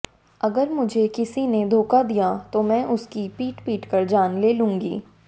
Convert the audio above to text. अगर मुझे किसी ने धोखा दिया तो मैं उसकी पीट पीटकर जान ले लूंगी